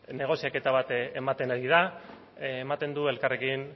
negoziaketa bat ematen ari da ematen du elkarrekin